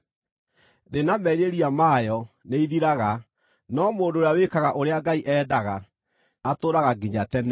Thĩ na merirĩria mayo nĩithiraga, no mũndũ ũrĩa wĩkaga ũrĩa Ngai endaga atũũraga nginya tene.